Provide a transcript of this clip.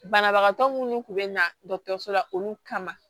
Banabagatɔ minnu kun bɛ na dɔgɔtɔrɔso la olu kama